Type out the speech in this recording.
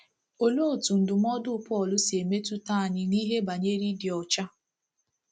Olee otú ndụmọdụ Pọl si metụta anyị n’ihe banyere ịdị ọcha?